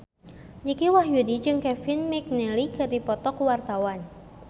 Dicky Wahyudi jeung Kevin McNally keur dipoto ku wartawan